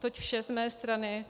Toť vše z mé strany.